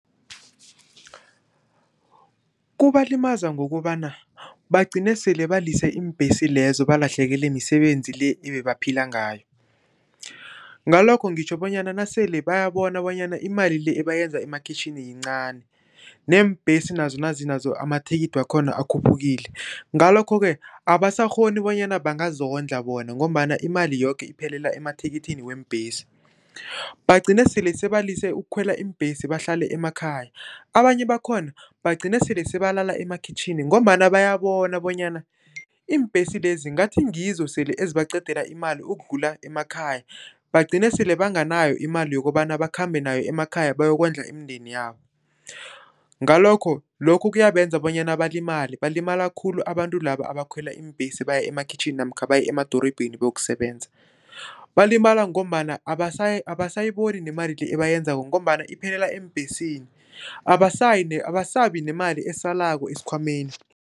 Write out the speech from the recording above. Kubalimaza ngokobana bagcine sele balise iimbhesi lezo, balahlekelwe misebenzi le ebebaphila ngayo. Ngalokho ngitjho bonyana nasele bayabona bonyana imali le bayenza emakhitjhini yincani neembhesi nazo nazi nazo amathikithi wakhona akhuphukile. Ngalokho-ke abasakghoni bonyana bangazondla bona ngombana imali yoke iphelela emathikithini weembhesi, bagcine sele sebalise ukukhwela iimbhesi bahlale emakhaya. Abanye bakhona bagcina sele sebalala emakhitjhini ngombana bayabona bonyana iimbhesi lezi ngathi ngizo sele ezibaqeda imali ukudlula emakhaya, bagcine sele banganayo imali yokobana bakhambe nayo emakhaya bayokondla imindeni yabo. Ngalokho, lokho kuyabenza bonyana balimale, balimala khulu abantu laba abakhwela iimbhesi baya emakhitjhini namkha baye emadorobheni bayokusebenza. Balimala ngombana abasayiboni nemali le ebayenzako ngombana iphelela eembhesini abasayi abasabi nemali esalako esikhwameni.